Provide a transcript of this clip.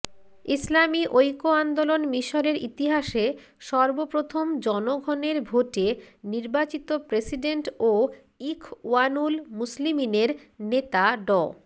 ইসলামী ঐক্য আন্দোলন মিশরের ইতিহাসে সর্বপ্রথম জনগণের ভোটে নির্বাচিত প্রেসিডেন্ট ও ইখওয়ানুল মুসলিমিনের নেতা ড